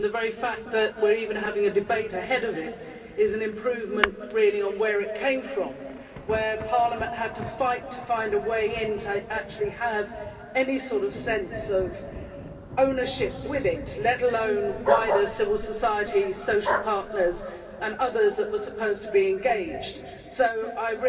The very fact that we are even having a debate ahead of it is an improvement on where it came from, where Parliament had to fight to find a way into have any sort of sense of ownership with it let alone wider civil society, social partners and others that were supposed to be engaged so I